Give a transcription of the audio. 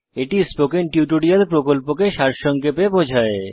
এটি spoken tutorial প্রকল্পকে সারসংক্ষেপে বোঝায়